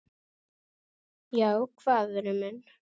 Já, hvað vinur minn?